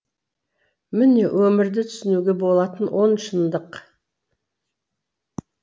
міне өмірді түсінуге болатын он шындық